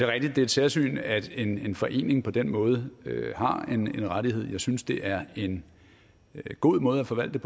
rigtigt at det er et særsyn at en forening på den måde har en rettighed jeg synes at det er en god måde at forvalte